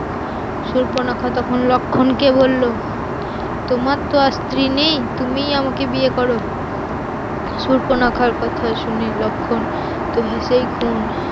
সুর্পনখা তখন লক্ষণকে বলল তোমার তো আর স্ত্রী নেই তুমি আমাকে বিয়ে করো, সুর্পনখার কথা শুনে লক্ষণ তো হেসেই খুন